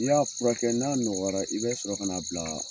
N'i y'a furakɛ, n'a nɔgɔyara, i bɛ sɔrɔ ka na bila